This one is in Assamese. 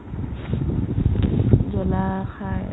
জলা খাই